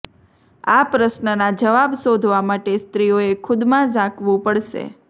આ પ્રશ્નનાં જવાબ શોધવા માટે સ્ત્રીઓએ ખુદમાં ઝાંકવું પડશે